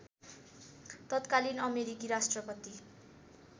तत्कालीन अमेरिकी राष्ट्रपति